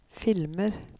filmer